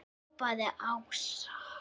hrópaði Ása.